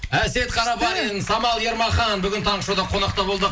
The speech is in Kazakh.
әсет қарабалин самал ермахан бүгін таңғы шоуда қонақта болды